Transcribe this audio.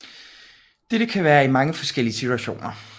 Dette kan være i mange forskellige situationer